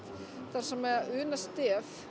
þar sem Una Stef